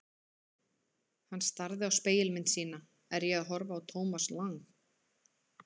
Hann starði á spegilmynd sína: Er ég að horfa á Thomas Lang?